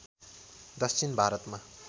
दक्षिण भारतमा